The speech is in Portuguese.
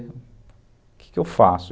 O que que eu faço?